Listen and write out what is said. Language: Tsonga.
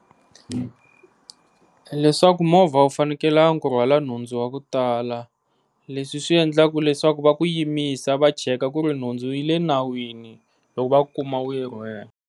Leswaku movha wu fanekelanga u rhwala nhundzu wa ku tala leswi swi endlaka leswaku va ku yimisa va check ku ri nhundzu yi le nawini loku va ku kuma u yi rhwele.